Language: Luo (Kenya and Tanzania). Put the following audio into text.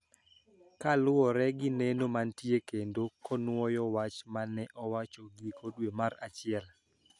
Kaluwore gi neno mantie kendo konuoyo wach ma ne owacho giko dwe mar achiel